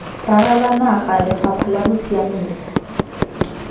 ralala naga lefapha la bosiamisi